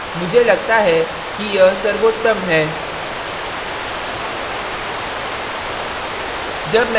मुझे लगता है कि यह सर्वोत्तम है